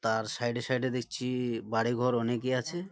তার সাইড এ সাইড এ দেখছি বাড়ি ঘর অনেকই আছে।